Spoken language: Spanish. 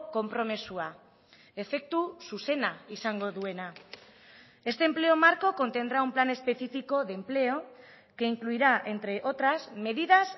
konpromisoa efektu zuzena izango duena este empleo marco contendrá un plan específico de empleo que incluirá entre otras medidas